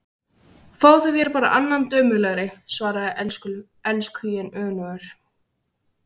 Fáðu þér þá bara annan dömulegri, svaraði elskhuginn önugur.